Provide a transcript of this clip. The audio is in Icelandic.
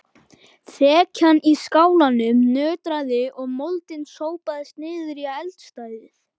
Þekjan í skálanum nötraði og moldin sópaðist niður í eldstæðið.